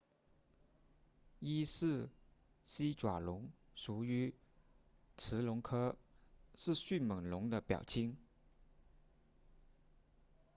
伊氏西爪龙属于驰龙科是迅猛龙的表亲